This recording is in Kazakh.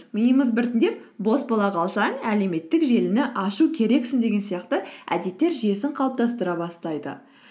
миымыз біртіңдеп бос бола қалсаң әлеуметтік желіні ашу керексің деген сияқты әдеттер жүйесін қалыптастыра бастайды